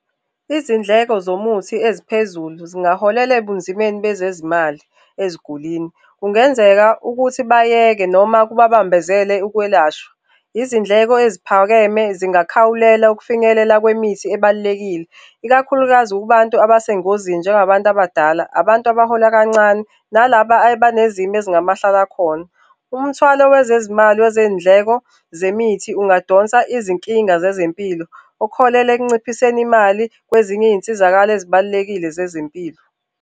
Izindleko zomuthi eziphezulu zingaholela ebunzimeni bezezimali ezigulwini. Kungenzeka ukuthi bayeke noma kubabambezele ukwelashwa. Izindleko eziphakeme zingakhawulela ekufinyelela kwemithi ebalulekile, ikakhulukazi kubantu abasengozini njengabantu abadala, abantu abahola kancane nalaba abanezimo ezingamahlalakhona. Umthwalo wezezimali wezindleko zemithi ungadonsa izinkinga zezempilo okuholela ekunciphiseni imali kwezinye izinsizakalo ezibalulekile zezempilo.